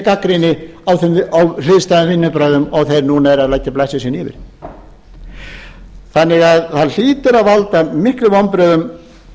gagnrýni á hliðstæðum vinnubrögðum og þeir núna eru að leggja blessun sína yfir það hlýtur að valda miklum vonbrigðum